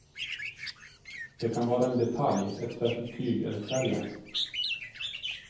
Det kan vara en detalj, ett särskilt tyg eller färgen.